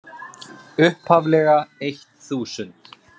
upphaflega eitt þúsund.